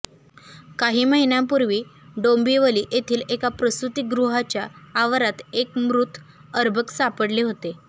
काही महिन्यांपूर्वी डोंबिवली येथील एका प्रसूतीगृहाच्या आवारात एक मृत अर्भक सापडले होते